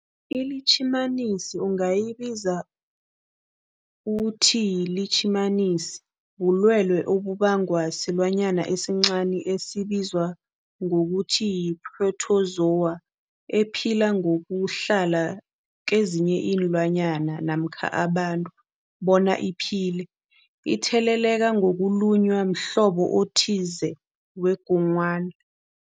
iLitjhimanisi ungayibiza uthiyilitjhimanisi, bulwelwe obubangwa silwanyana esincani esibizwa ngokuthiyi-phrotozowa ephila ngokuhlala kezinye iinlwana namkha abantu bona iphile itheleleka ngokulunywa mhlobo othize wengogwana.